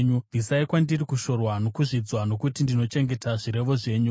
Bvisai kwandiri kushorwa nokuzvidzwa, nokuti ndinochengeta zvirevo zvenyu.